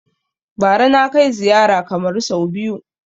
Bara na kai ziyara Kamaru sau biyu